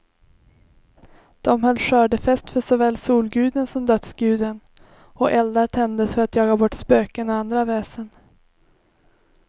De höll skördefest för såväl solguden som dödsguden, och eldar tändes för att jaga bort spöken och andra väsen.